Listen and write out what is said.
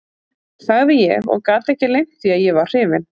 sagði ég og gat ekki leynt því að ég var hrifinn.